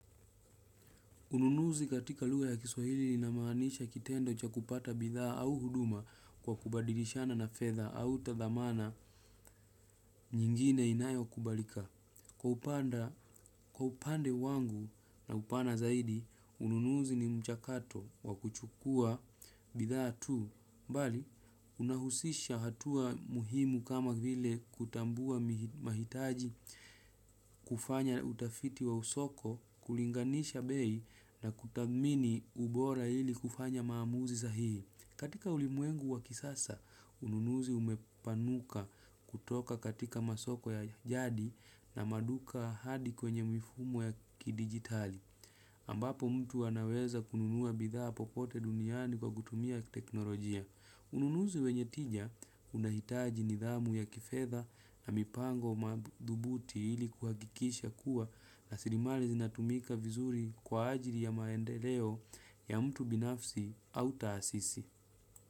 Ununuzi katika lugha ya kiswahili linamaanisha kitendo cha kupata bidhaa au huduma kwa kubadilishana na fedha au tathamana nyingine inayokubalika. Kwa upande wangu na upana zaidi, ununuzi ni mchakato wa kuchukua bidhaa tu. Mbali, unahusisha hatua muhimu kama vile kutambua mahitaji kufanya utafiti wa usoko, kulinganisha bei na kutamini ubora ili kufanya maamuzi sahihi. Katika ulimwengu wa kisasa, ununuzi umepanuka kutoka katika masoko ya jadi na maduka hadi kwenye mifumo ya kidijitali. Ambapo mtu anaweza kununua bidhaa popote duniani kwa kutumia teknolojia. Ununuzi wenye tija unahitaji nidhamu ya kifedha na mipango madhubuti ili kuhakikisha kuwa rasirimali zinatumika vizuri kwa ajili ya maendeleo ya mtu binafsi taasisi.